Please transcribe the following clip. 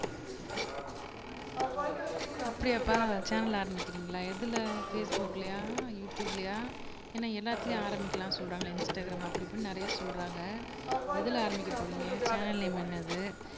அப்படியாப்பா சேனல் ஆரம்பிக்கிறீங்களா எதுல பேஸ்புக்லயா யுடுயூப்லயா ஏன்னா எல்லாத்துலயும் ஆரம்பிக்கலான்னு சொல்றாங்களே இன்ஸ்டாகிராம் அப்படி இப்படின்னு நிறைய சொல்றாங்க எதுல ஆரம்பிக்க போறீங்க சேனல் நேம் என்னது